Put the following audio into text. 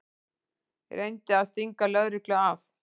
Reyndi að stinga lögreglu af